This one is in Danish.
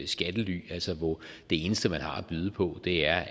skattely altså hvor det eneste man har at byde på er